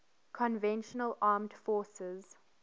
conventional armed forces